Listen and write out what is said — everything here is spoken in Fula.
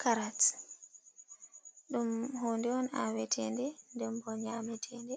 karats ɗum hunde on awete nde, dembo nyametede